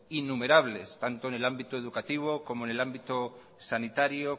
innumerables tanto en el ámbito educativo como en el ámbito sanitario